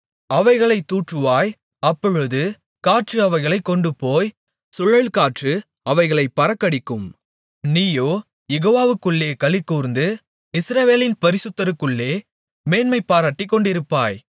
அவைகளைத் தூற்றுவாய் அப்பொழுது காற்று அவைகளைக் கொண்டுபோய் சுழல்காற்று அவைகளைப் பறக்கடிக்கும் நீயோ யெகோவாவுக்குள்ளே களிகூர்ந்து இஸ்ரவேலின் பரிசுத்தருக்குள்ளே மேன்மைபாராட்டிக்கொண்டிருப்பாய்